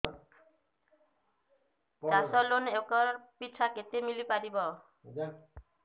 ଚାଷ loan acre ପିଛା କେତେ ମିଳି ପାରିବ